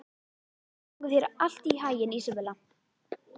Gangi þér allt í haginn, Ísabella.